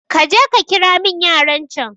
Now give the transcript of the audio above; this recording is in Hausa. kaje kakiramin yaran can